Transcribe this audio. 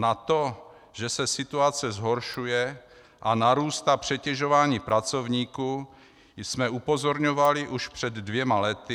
Na to, že se situace zhoršuje a narůstá přetěžování pracovníků, jsme upozorňovali už před dvěma lety."